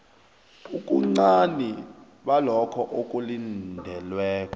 ubuncani balokho okulindelweko